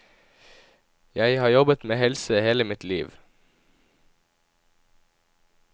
Jeg har jobbet med helse hele mitt liv.